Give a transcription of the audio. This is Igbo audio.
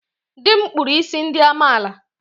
Dị m kpụrụ isi ndị amaala.